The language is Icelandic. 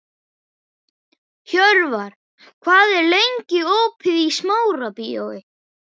Hjörvar, hvað er lengi opið í Smárabíói?